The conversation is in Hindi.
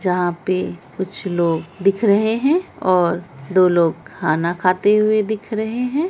जहां पे कुछ लोग दिख रहे हैं और दो लोग खाना खाते हुए दिख रहे हैं।